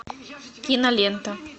кинолента